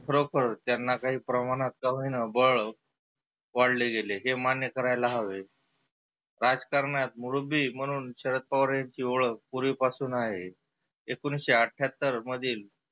खरोखर त्यांना काही प्रमानात का होईना बळ वाढले गेले हे मान्य करायला हवे. राजकारणात मुरुबी म्हणुन शरद पवार ह्यांची होळख पुर्विपासुन आहे. एकोनिसशे आठ्यात्तर मधिल